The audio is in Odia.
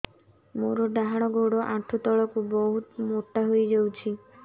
ମୋର ଡାହାଣ ଗୋଡ଼ ଆଣ୍ଠୁ ତଳକୁ ବହୁତ ମୋଟା ହେଇଯାଉଛି